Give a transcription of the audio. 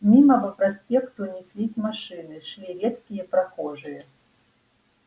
мимо по проспекту неслись машины шли редкие прохожие